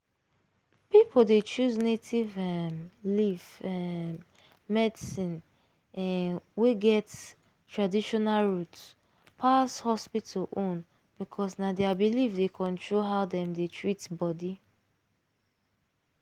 people dey choose native um leaf um medicine um wey get traditional root pass hospital own because na their belief dey control how dem dey treat body.